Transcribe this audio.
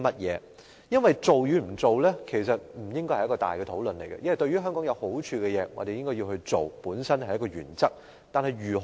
因為做與不做不應再進行大討論，對於香港有益的事情，我們應該去做，這是我們的原則。